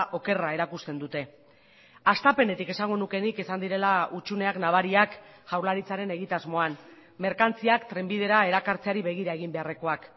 okerra erakusten dute hastapenetik esango nuke nik izan direla hutsuneak nabariak jaurlaritzaren egitasmoan merkantziak trenbidera erakartzeari begira egin beharrekoak